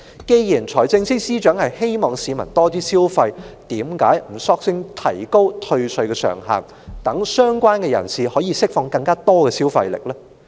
既然財政司司長希望市民多消費，為何不乾脆提高退稅上限，讓相關人士釋放更多消費力呢？